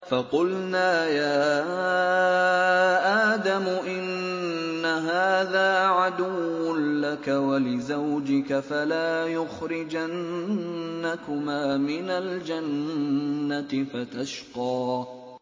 فَقُلْنَا يَا آدَمُ إِنَّ هَٰذَا عَدُوٌّ لَّكَ وَلِزَوْجِكَ فَلَا يُخْرِجَنَّكُمَا مِنَ الْجَنَّةِ فَتَشْقَىٰ